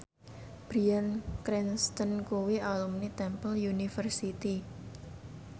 Bryan Cranston kuwi alumni Temple University